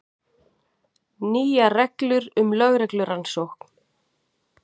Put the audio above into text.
Nýjar reglur um lögreglurannsókn